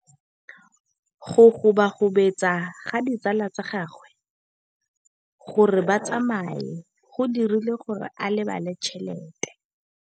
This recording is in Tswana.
Go gobagobetsa ga ditsala tsa gagwe, gore ba tsamaye go dirile gore a lebale tšhelete.